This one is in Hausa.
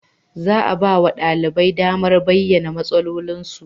Za a ba wa ɗaliban damar bayyana matsalolinsu.